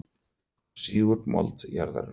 Hún sýgur mold jarðarinnar.